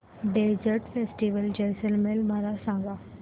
desert festival Jaisalmer मला सांग